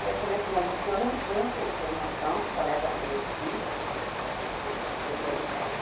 Aí eu falei assim, mas o senhor não tinha essa informação de coleta seletiva, é, doutor Ricardo?